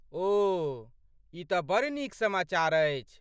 ओह, ई तँ बड़ नीक समाचार अछि।